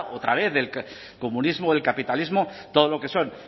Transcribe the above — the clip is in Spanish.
otra vez del comunismo del capitalismo todo lo que son